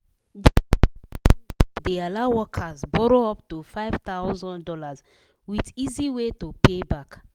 d office loan group de allow workers borrow up to five thousand dollars with easy way to pay back